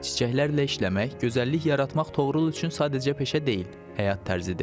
Çiçəklərlə işləmək, gözəllik yaratmaq Toğrul üçün sadəcə peşə deyil, həyat tərzidir.